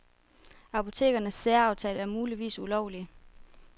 Apotekernes særaftaler er muligvis ulovlige.